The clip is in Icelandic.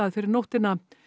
fyrir nóttina